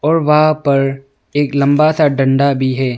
और वहां पर एक लंबा सा डंडा भी है।